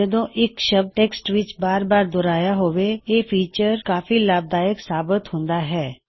ਜਦੋਂ ਇੱਕ ਸ਼ਬਦ ਟੈਕ੍ਸਟ ਵਿੱਚ ਬਾਰ ਬਾਰ ਦੋਹਰਾਇਆ ਹੋਵੇ ਇਹ ਫੀਚਰ ਕਾਫੀ ਲਾਭਦਾਇਕ ਸਾਬਿਤ ਹੁੰਦਾ ਹੈ